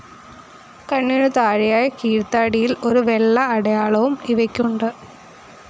കണ്ണിനു താഴെയായി കീഴ്ത്താടിയിൽ ഒരു വെള്ള അടയാളവും ഇവയ്ക്കുണ്ട്.